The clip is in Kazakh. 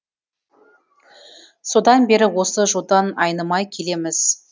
содан бері осы жолдан айнымай келеміз